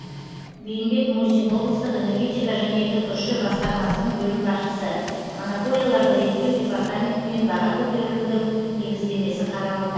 бейімбет мусин облыстық энергетика және түкш басқармасының бөлім басшысы монополияларды реттеу департаментімен баға көтерілудің негіздемесі қаралуда